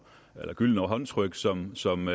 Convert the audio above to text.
får gyldne håndtryk som som